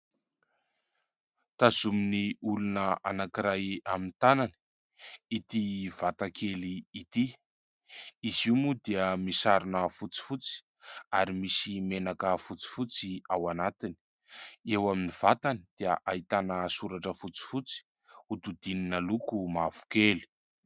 Tazomin'ny olona anankiray amin'ny tanany ity vata kely ity ; izy io moa dia misarona fotsifotsy ary misy menaka fotsifotsy ao anatiny ; eo amin'ny vatany dia ahitana soratra fotsifotsy hodidinina loko mavokely.